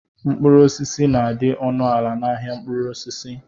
Mkpụrụ osisi na-adị ọnụ ala n'ahia mkpụrụ osisi.